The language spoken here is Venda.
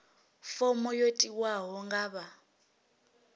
fomo yo tiwaho nga vha